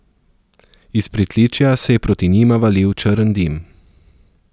Iz pritličja se je proti njima valil črn dim.